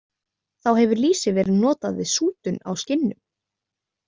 Þá hefur lýsi verið notað við sútun á skinnum.